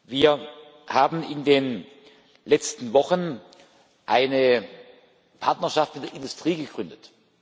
Wir haben in den letzten Wochen eine Partnerschaft mit der Industrie gegründet.